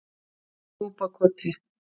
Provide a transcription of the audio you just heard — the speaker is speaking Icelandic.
Núpakoti